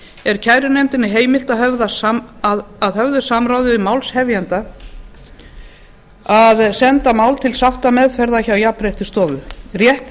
er kærunefndinni heimilt að höfðu samráði við málshefjanda að senda mál til sáttameðferðar hjá jafnréttisstofu rétt